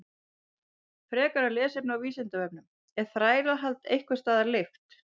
Frekara lesefni á Vísindavefnum: Er þrælahald einhvers staðar leyft?